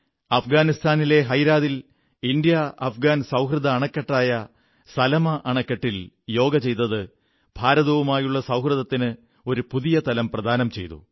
അഫ്ഗാനിസ്ഥാനിലെ ഹെറാത്തിൽ ഇന്ത്യാ അഫ്ഗാൻ സൌഹൃദ അണക്കെട്ടായ സൽമാ അണക്കെട്ടിൽ യോഗ ചെയ്ത് ഭാരതവുമായുള്ള സൌഹൃദത്തിന് ഒരു പുതിയ തലം പ്രദാനം ചെയ്തു